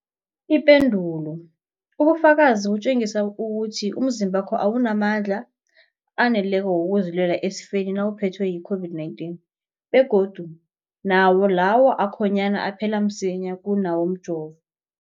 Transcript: Ipendulo, ubufakazi butjengisa ukuthi umzimbakho awunamandla aneleko wokuzilwela esifeni nawuphethwe yi-COVID-19, begodu nawo lawo akhonyana aphela msinyana kunawomjovo.